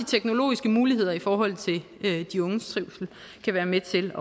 teknologiske muligheder i forhold til de unges trivsel kan være med til